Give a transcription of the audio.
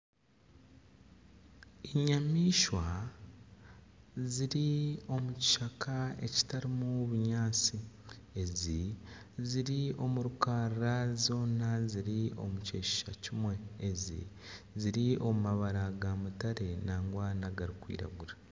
Enyamaishwa ziri omu kishaka ekitarimu bunyaatsi. Ezi ziri omu rukarara zoona ziri omu kyeshusha kimwe. Ezi ziri omu mabara ga mutare nangwa nagari kwiragura.